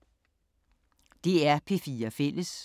DR P4 Fælles